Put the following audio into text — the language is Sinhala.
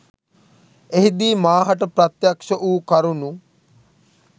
එහිදී මා හට ප්‍රත්‍යක්ෂ වූ කරුණු